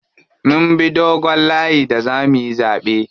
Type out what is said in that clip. Mun bi dogon layi da zamuyi zaɓe.